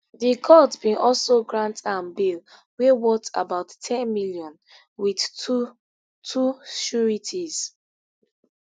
di court bin also grant am bail wey worth about n ten million wit two two sureties